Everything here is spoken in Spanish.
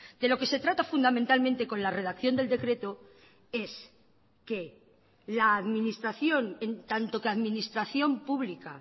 de lo que se trata fundamentalmente con la redacción del decreto es que la administración en tanto que administración pública